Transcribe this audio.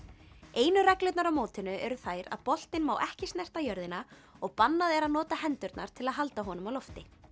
einu reglurnar á mótinu eru þær að boltinn má ekki snerta jörðina og bannað er að nota hendurnar til að halda honum á lofti